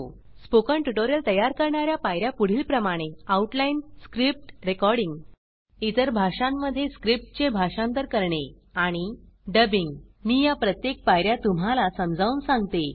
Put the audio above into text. spoken tutorial तयार करणार्या पायर्या पुढीलप्रमाणे आउटलाइनरुपरेषा स्क्रिप्ट मुळलेख रेकॉर्डिंग ध्वनिमुद्रण इतर भाषांमध्ये स्क्रिप्ट चे भाषांतर करणे आणि डब्बिंग मी या प्रत्येक पायर्या तुम्हाला समजावून सांगते